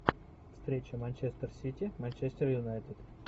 встреча манчестер сити манчестер юнайтед